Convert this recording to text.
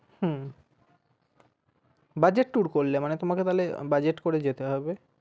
হম budget tour করলে মানে তোমাকে তাহলে budget করে যেতে হবে।